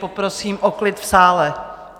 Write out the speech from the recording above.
Poprosím o klid v sále.